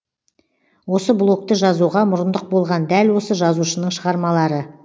осы блогты жазуға мұрындық болған дәл осы жазушының шығармалары